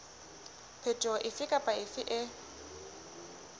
phetoho efe kapa efe e